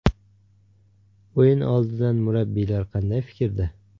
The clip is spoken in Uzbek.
O‘yin oldidan murabbiylar qanday fikrda?